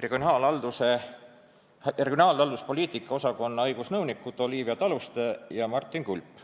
regionaalhalduspoliitika osakonna õigusnõunikud Olivia Taluste ja Martin Kulp.